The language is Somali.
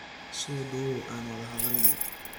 Sodhawow aan wadha hadhalne.